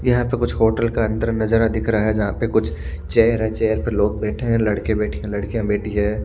यहा पे कुछ होटल का अंधर नजारा दिख रहा है जहा पे कुछ चेयर है चेयर पर लोग बेठे है लडके बेठे है लडकिय बेठी है।